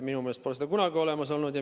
Minu meelest pole seda kunagi olnud.